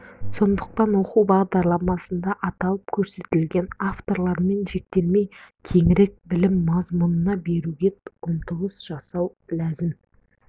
сондықтан оқу бағдарламасында аталып көрсетілген авторлармен шектелмей кеңірек білім мазмұнын беруге ұмтылыс жасау ләзім